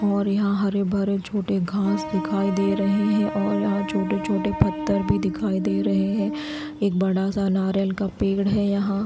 और यहां हरे भरे छोटे घास दिखाई दे रहे हैं और यहां छोटे छोटे पत्थर भी दिखाई दे रहे हैं एक बड़ा सा नारियल का पेड़ है यहां।